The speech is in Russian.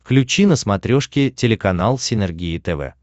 включи на смотрешке телеканал синергия тв